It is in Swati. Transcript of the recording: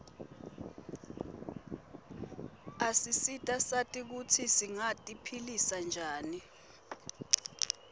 asisita sati kutsi singati philisa njani